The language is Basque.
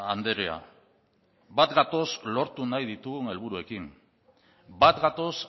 andrea bat gatoz lortu nahi ditugun helburuekin bat gatoz